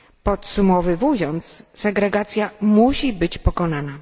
Podsumowywując, segregacja musi być pokonana.